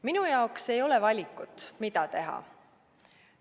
Minu jaoks ei ole valikut, mida teha.